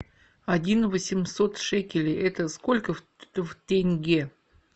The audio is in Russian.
один восемьсот шекелей это сколько в тенге